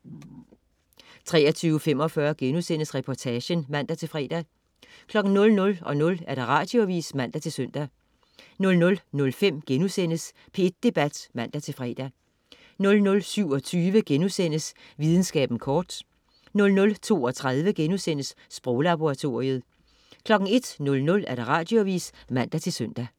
23.45 Reportagen* (man-fre) 00.00 Radioavis (man-søn) 00.05 P1 Debat* (man-fre) 00.27 Videnskaben kort* 00.32 Sproglaboratoriet* 01.00 Radioavis (man-søn)